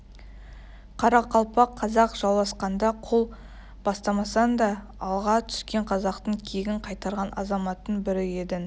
қарақалпақ-қазақ жауласқанда қол бастамасаңда алға түскен қазақтың кегін қайтарған азаматтың бірі едің